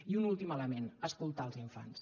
i un últim element escoltar els infants